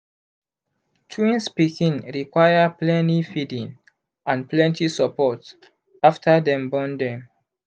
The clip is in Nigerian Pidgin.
twins pikin require pleny feeding and plenty support after dem born dem